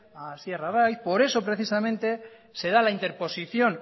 a asier arraiz por eso se da la interposición